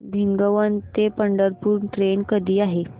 भिगवण ते पंढरपूर ट्रेन कधी आहे